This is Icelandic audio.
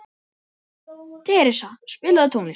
Theresa, spilaðu tónlist.